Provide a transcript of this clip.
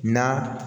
Na